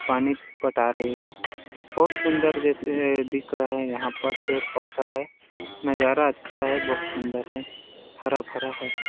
पानी पटा रही है बहुत सुंदर जैसे दिख रहे है यहाँ पर पेड़ -पौधा है नजारा अच्छा है बहुत सुंदर है हरा -भरा हैं ।